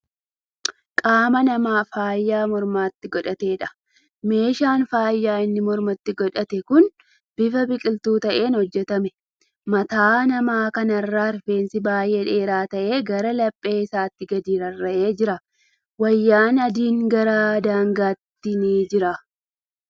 Qaama namaa faaya mormatti godhateedha. Meeshaan faayaa inni mormatti godhatee kuni bifa biqiltuu ta'een hojjatame. Mataa nama kanaarraa rifeensi baay'ee dheeraa ta'e gara laphee isaatti gadi rarra'ee jira. Wayaan adiin gara daangaatti ni jira.